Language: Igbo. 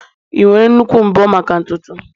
ị nwere nnukwu mbo maka ntutu m?